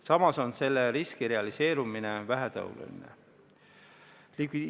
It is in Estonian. Samas on selle riski realiseerumine vähetõenäoline.